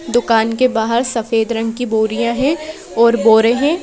दुकान के बाहर सफेद रंग की बोरियां हैं और बोरे हैं।